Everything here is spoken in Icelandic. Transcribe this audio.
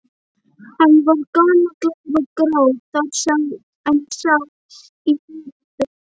Hann var gamallegur og grár þar sem sá í hörundið.